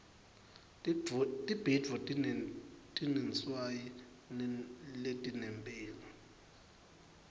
tibhidvo tinetinswayi letinemphilo